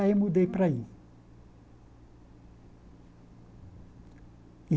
Aí mudei para aí.